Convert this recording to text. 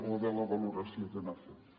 o de la valoració que n’ha fet